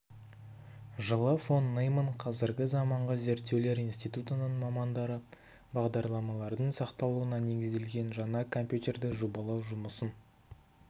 жылы фон нейман қазіргі заманғы зерттеулер институтының мамандары бағдарламалардың сақталуына негізделген жаңа компьютерді жобалау жұмысын